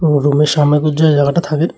কোনো রুমের সামনে এই জাগাটা থাকে।